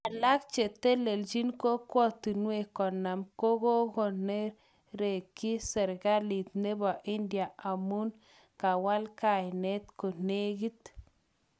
Alak chetelelchin kokwotunwek 50 kokonereki serkalit nebo India amun kawal kainet konekit.